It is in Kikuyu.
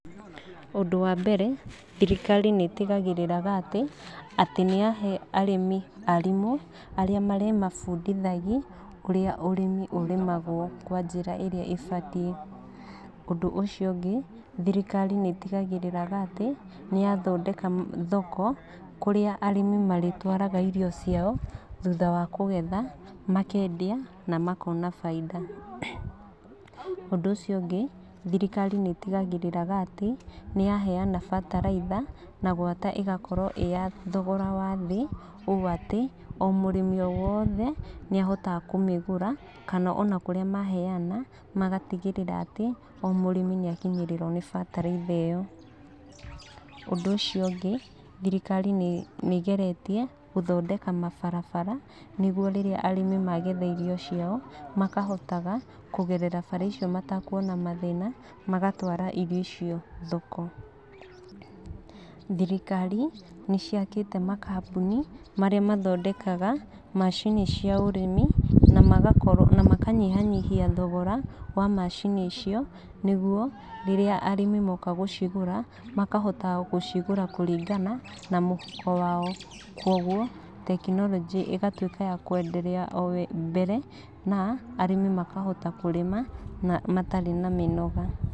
Ũndũ wambere, thirikari nĩĩtigagĩrĩra atĩ nĩyahe arĩmi arimũ arĩa marĩmabundithagia ũrĩa ũrĩmi ũremagwo kwa njĩra ĩrĩa ĩbatiĩ. Ũndũ ũcio ũngĩ thirikari nĩĩtigagĩrĩra atĩ nĩyathondeka thoko kũrĩa arĩmi marĩtwaraga irio ciao thutha wa kũgetha, makendia na makona bainda. Ũndũ ũcio ũngĩ, thirikari nĩĩtigagĩrĩra atĩ nĩyaheyana bataraitha na gwata ĩgakorwo ĩyathogora wa thĩ ũũ atĩ mũrĩmi o wothe nĩahotaga kũmĩgũra, kana ona kũrĩa maheyana magatigĩrĩra atĩ o mũrĩmi nĩakinyĩrĩrwo nĩ bataraitha ĩyo. Ũndũ ũcio ũngĩ thirikari nĩĩgeretie gũthondeka mabarabara, nĩguo rĩrĩa arĩmi magetha irio ciao makahotaga kũgerera barabara icio mata kuona mathĩna magatwara irio icio thoko. Thirikari nĩciakĩte makambuni marĩa mathondekaga macini cia ũrĩmi, na makanyihanyihia thogora wa macini icio, nĩguo rĩrĩa arĩmi moka gũcigũra makahota gũcigũra kũringana na mũhuko wao. Koguo tekinoronjĩ ĩgatuĩka ya kũenderea o mbere na arĩmi makahota kũrĩma na matarĩ na mĩnoga.